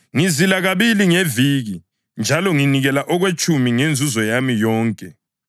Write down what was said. Ngizila kabili ngeviki njalo nginikela okwetshumi okwenzuzo yami yonke.’